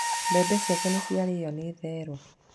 Mbembe ciake nĩ ciarĩo nĩ therũ.